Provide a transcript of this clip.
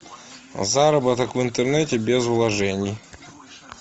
заработок в интернете без вложений